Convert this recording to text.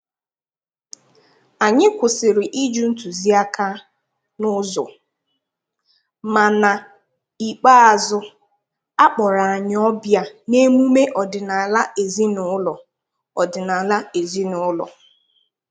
Anyị kwụsịrị ịjụ ntuziaka n`ụzọ, ma n`ikpeazu akpọrọ anyị ọbịa n`emume ọdịnaala ezin`ụlọ ọdịnaala ezin`ụlọ